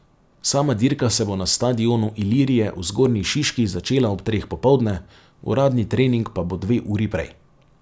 Sama dirka se bo na stadionu Ilirije v Zgornji Šiški začela ob treh popoldne, uradni trening pa bo dve uri prej.